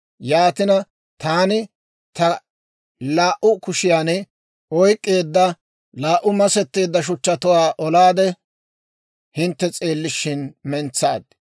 Yaatina, taani ta laa"u kushiyan oyk'k'eedda laa"u masetteedda shuchchatuwaa olaade, hintte s'eellishin mentsaad.